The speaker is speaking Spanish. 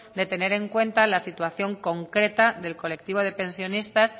de tener en cuenta la situación concreta del colectivo de pensionistas